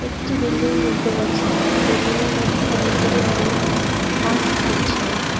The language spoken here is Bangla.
একটি বিল্ডিং দেখতে পাচ্ছি বিল্ডিংয়ের মধ্যে অনেকগুলো লোক কাজ করছে।